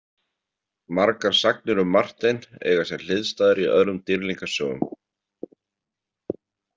Margar sagnir um Martein eiga sér hliðstæður í öðrum dýrlingasögum.